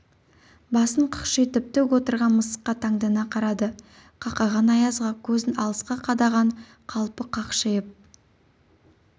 басын қақшитып тік отырған мысыққа таңдана қарады қақаған аязға көзін алысқа қадаған қалпы қақшиып